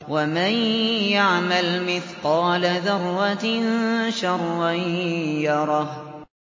وَمَن يَعْمَلْ مِثْقَالَ ذَرَّةٍ شَرًّا يَرَهُ